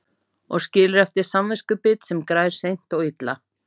Og skilur eftir samviskubit sem grær seint og illa.